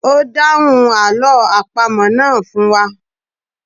O dáhùn àlọ́ àpamọ̀ náà fún wa